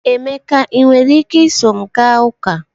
Emeka, ị nwere ike iso m gaa ụka?